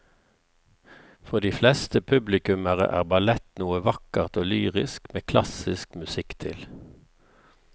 For de fleste publikummere er ballett noe vakkert og lyrisk med klassisk musikk til.